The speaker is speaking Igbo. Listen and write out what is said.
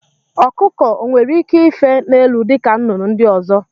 Ọkụkọ onwere ike ife n'elu dịka nnụnụ ndị ọzọ?